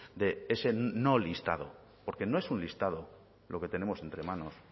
de ese no listado porque no es un listado lo que tenemos entre manos